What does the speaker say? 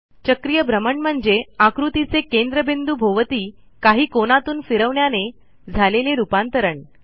चक्रीय भ्रमण म्हणजे आकृतीचे केंद्रबिंदू भोवती काही कोनातून फिरवण्याने झालेले रूपांतरण